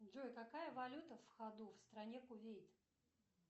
джой какая валюта в ходу в стране кувейт